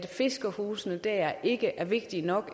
fiskerhusene dér ikke er vigtige nok